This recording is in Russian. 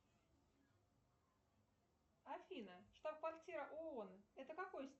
афина штаб квартира оон это какой